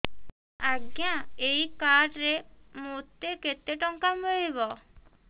ଆଜ୍ଞା ଏଇ କାର୍ଡ ରେ ମୋତେ କେତେ ଟଙ୍କା ମିଳିବ